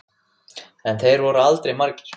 En þeir voru aldrei margir.